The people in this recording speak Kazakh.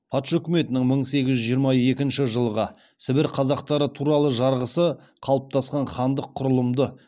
патша үкіметінің мың сегіз жүз жиырма екінші жылғы сібір қазақтары туралы жарғысы қалыптасқан хандық құрылымды